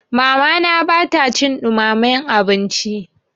Mamana ba ta cin ɗumamen abinci.